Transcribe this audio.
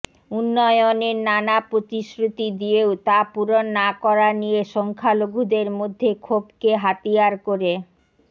উন্নয়নের নানা প্রতিশ্রুতি দিয়েও তা পূরণ না করা নিয়ে সংখ্যালঘুদের মধ্যে ক্ষোভকে হাতিয়ার করেই